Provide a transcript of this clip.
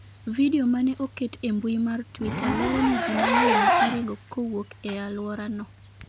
Video ma ne oket e mbui mar Twitter lero ni ji mang’eny ne oringo kowuok e alworano.